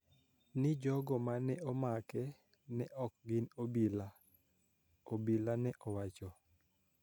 Ni jogo ma ne omake ne ok gin obila, obila ne owacho